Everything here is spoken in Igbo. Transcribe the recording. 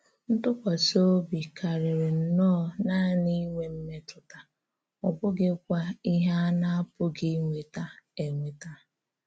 Ntùkwàsị òbì kárírí nnọọ nànị ínwè m̀mètụ̀tá, ọ bụ̀ghíkwa íhè a na-apụ̀ghị ínwètá ènwètá.